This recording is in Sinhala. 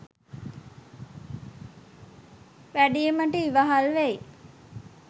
වැඩීමට ඉවහල් වෙයි.